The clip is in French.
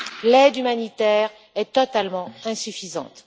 L'aide humanitaire est totalement insuffisante.